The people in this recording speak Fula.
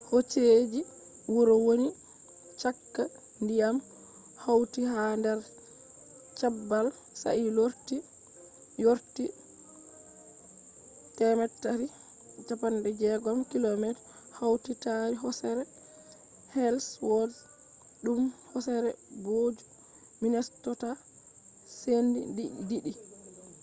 hoseji huro woni chaka diyam hauti ha der cabbal sai lorti vorti 360km hauti tari hosere ellsworth dum hosere booju minnesota sendi di'di